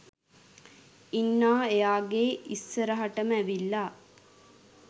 ඉන්හා එයාගෙ ඉස්සරහටම ඇවිල්ලා